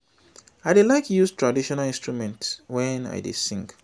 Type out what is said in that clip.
i dey like use traditional instruments wen i dey sing